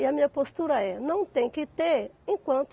E a minha postura é, não tem que ter enquanto